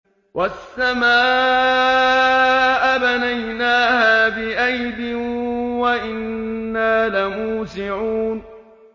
وَالسَّمَاءَ بَنَيْنَاهَا بِأَيْدٍ وَإِنَّا لَمُوسِعُونَ